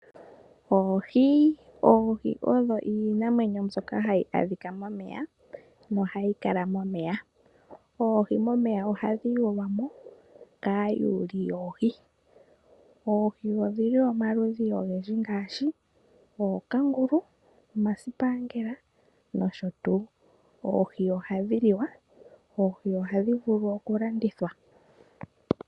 Oohi. Oohi odho iinamwenyo mbyoka hayi adhika momeya nohayi kala momeya . Oohi momeya ohadhi yulwa mo kaayuli yoohi . Oohi odhili omaludhi oyendji ngaashi ookangulu, omasipaangela nosho tuu . Oohi ohadhi liwa dho ohadhi vulu oku landithilwa.